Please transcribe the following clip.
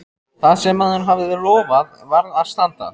Það sem maður hafði lofað varð að standa.